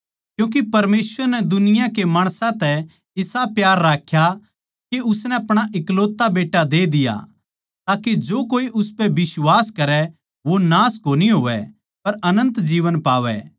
क्यूँके परमेसवर नै दुनिया के माणसां तै इसा प्यार राख्या के उसनै अपणा इकलौता बेट्टा दे दिया ताके जो कोए उसपै बिश्वास करै वो नाश कोनी होवै पर अनन्त जीवन पावै